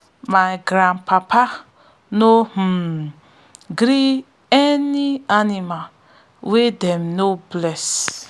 my grandpapa no um gree any animal wey them no bless